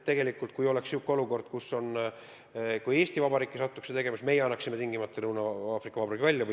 Kui oleks selline olukord, et Eesti Vabariigis toimuks midagi säärast, siis meie annaksime teo tegija tingimata Lõuna-Aafrika Vabariigile välja.